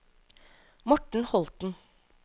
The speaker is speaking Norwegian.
Morten Holten